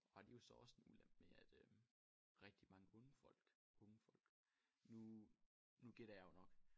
Og det jo så også en ulempe med at øh rigtig mange onde folk unge folk nu nu gætter jeg jo nok